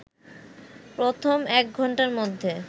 প্রথম একঘন্টার মধ্যে